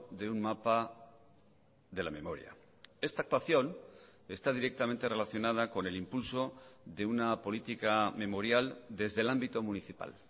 de un mapa de la memoria esta actuación está directamente relacionada con el impulso de una política memorial desde el ámbito municipal